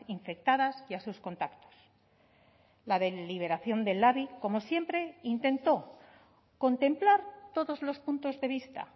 infectadas y a sus contactos la deliberación del labi como siempre intentó contemplar todos los puntos de vista